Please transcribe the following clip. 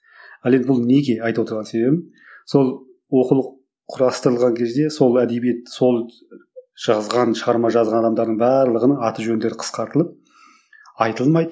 ал енді бұл неге айтып отырған себебім сол оқулық құрастырылған кезде сол әдебиет сол жазған шығарма жазған адамдардың барлығының аты жөндері қысқартылып айтылмайды